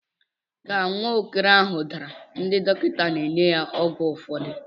Ka nwa okoro ahụ dara, ndị dọkịta na-enye ya ọgwụ ụfọdụ.